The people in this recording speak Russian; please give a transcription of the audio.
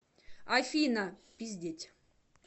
афина пиздеть